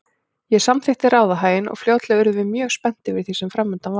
Ég samþykkti ráðahaginn og fljótlega urðum við mjög spennt yfir því sem framundan var.